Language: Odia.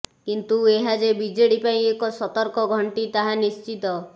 କିନ୍ତୁ ଏହା ଯେ ବିଜେଡି ପାଇଁ ଏକ ସତର୍କ ଘଣ୍ଟି ତାହା ନିଶ୍ଚିତ